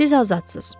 Siz azadsız.